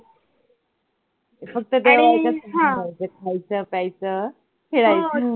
फक्त तेवढ्यायाच्यात राहायचं खायचं प्यायचं खेळायचं.